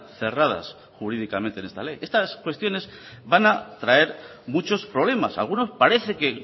cerradas jurídicamente en esta ley estas cuestiones van a traer muchos problemas algunos parece que